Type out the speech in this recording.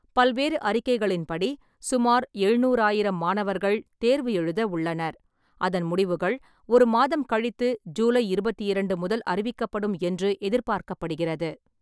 பல்வேறு அறிக்கைகளின்படி, சுமார் எழுநூறாயிரம் மாணவர்கள் தேர்வு எழுத உள்ளனர், அதன் முடிவுகள் ஒரு மாதம் கழித்து ஜூலை இருபத்தி இரண்டு முதல் அறிவிக்கப்படும் என்று எதிர்பார்க்கப்படுகிறது.